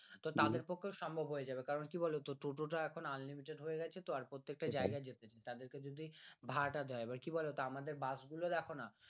তো তাদের পক্ষে সম্ভব হয়ে যাবে কারণ কি বলতো টোটো তো এখন unlimited হয়ে গেছে তো প্রত্যেকটা জায়গায় যেতে তাদেরকে যদি ভাড়াটা দেওয়া হয় তাহলে কি বলতো আমাদের বাস গুলো দেখনা